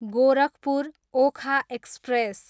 Gorakhpur, Okha express